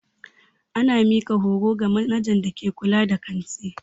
Ana mika horo ga manajan da ke kulla da kanti.